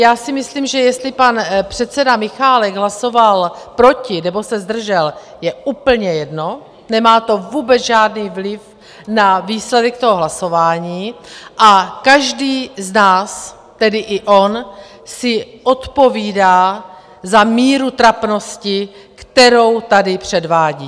Já si myslím, že jestli pan předseda Michálek hlasoval proti nebo se zdržel, je úplně jedno, nemá to vůbec žádný vliv na výsledek toho hlasování, a každý z nás - tedy i on - si odpovídá za míru trapnosti, kterou tady předvádí.